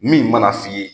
Min mana f'i ye